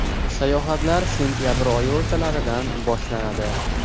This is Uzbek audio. Sayohatlar sentabr oyi o‘rtalaridan boshlanadi.